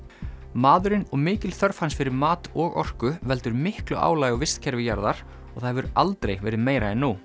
maðurinn og mikil þörf hans fyrir mat og orku veldur miklu álagi á vistkerfi jarðar og það hefur aldrei verið meira en nú